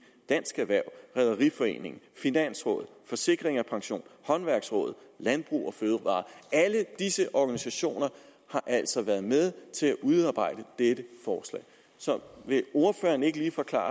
dansk erhverv rederiforeningen finansrådet forsikring pension håndværksrådet og landbrug fødevarer alle disse organisationer har altså været med til at udarbejde dette forslag så vil ordføreren ikke lige forklare